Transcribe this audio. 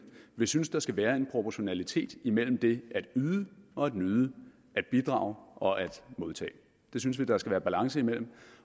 vi synes der skal være en proportionalitet imellem det at yde og at nyde at bidrage og at modtage det synes vi der skal være balance imellem